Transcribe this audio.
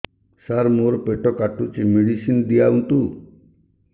ସାର ମୋର ପେଟ କାଟୁଚି ମେଡିସିନ ଦିଆଉନ୍ତୁ